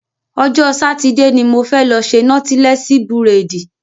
Ọjọ́ Sátidé ni mo fẹ́ lọ ṣe nọ́tílẹ́sí búrèdì